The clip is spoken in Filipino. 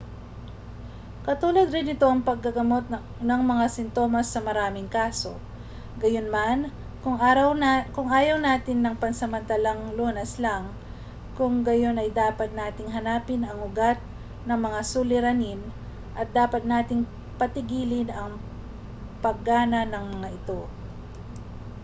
katulad rin ito ng paggamot ng mga sintomas sa maraming kaso gayunman kung ayaw natin ng pansamantalang lunas lang kung gayon ay dapat nating hanapin ang ugat ng mga suliranin at dapat nating patigilin ang paggana ng mga ito